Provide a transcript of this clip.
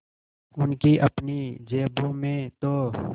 उनकी अपनी जेबों में तो